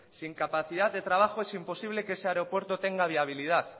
sin capacidad de trabajo y sin posible que ese aeropuerto tenga viabilidad